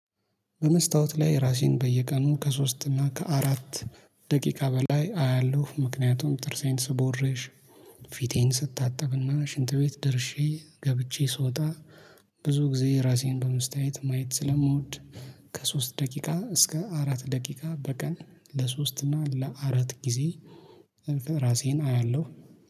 በመስታወት ላይ ራሴን በየቀኑ ከሶስት እና ከአራት ደቂቃ በላይ አያለሁ። ምክንያቱም ጥርሴን ስቦርሽ ፊቴን ስታጠብና ሽንት ቤት ደርሼ ገብቼ ስወጣ ብዙ ጊዜ ራሴን በመስታይት ማየት ስለምወድ ከሶስት ደቂቃ እስከ አራት ደቂቃ በቀን ለሶስት እና ለአራት ጊዜ ራሴን አያለሁ።